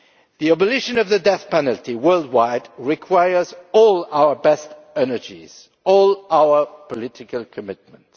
The abolition of the death penalty worldwide requires all our best energies, all our political commitment.